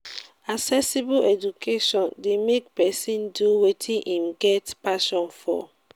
accessible education de make persin do wetin im get passion for